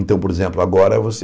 Então, por exemplo, agora você...